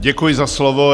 Děkuji za slovo.